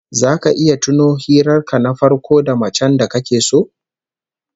Zaka iya tuno hirar ka na farko da macen da kake so?